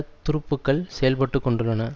துருப்புக்கள் செயல்பட்டு கொண்டுள்ளன